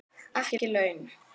Ekki laun.